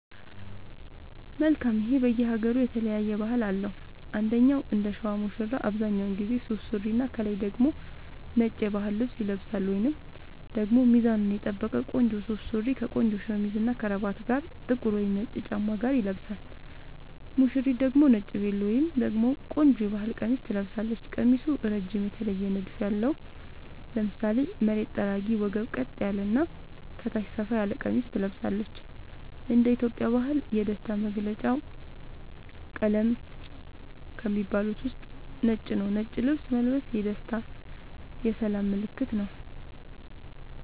መልካም ይሄ በየ ሃገሩ የተለያየ ባህል አለው እንደኛ እንደሸዋ ሙሽራው አብዛኛውን ጊዜ ሱፍ ሱሪና ከላይ ደግሞ ነጭ የባህል ልብስ ይለብሳልወይንም ደግሞ ሚዛኑን የጠበቀ ቆንጆ ሱፍ ሱሪ ከቆንጆ ሸሚዝ እና ከረባት ጋር ጥቁር ወይም ነጭ ጫማ ጋር ይለብሳል ሙሽሪት ደግሞ ነጭ ቬሎ ወይም ደግሞ ቆንጆ የባህል ቀሚስ ትለብሳለች ቀሚሱ እረጅም የተለየ ንድፍ ያለው ( ለምሳሌ መሬት ጠራጊ ወገብ ቀጥ ያለ እና ከታች ሰፋ ያለ ቀሚስ ትለብሳለች )እንደ ኢትዮጵያ ባህል የደስታ መገልውጫ ቀለም ከሚባሉት ውስጥ ነጭ ነዉ ነጭ ልብስ መልበስ የደስታ የሰላም ምልክትም ነዉ